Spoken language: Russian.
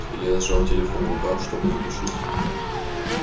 илья сжал телефон в руках чтобы задушить